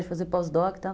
De fazer pós-doc e tal.